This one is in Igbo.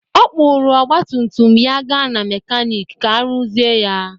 Ọ kpụrụ ọgba tum tum ya gaa na mekanịk ka ọ rụzie ya.